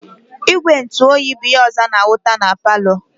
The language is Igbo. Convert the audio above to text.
Igwe ntu oyi bu ihe ọzọ ana-ahụta na palọ.